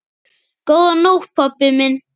Góða nótt pabbi minn.